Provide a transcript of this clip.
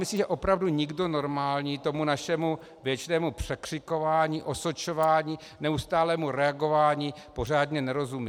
Myslím, že opravdu nikdo normální tomu našemu věčnému překřikování, osočování, neustálému reagování pořádně nerozumí.